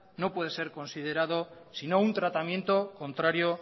no puede ser considerado sino un tratamiento contrario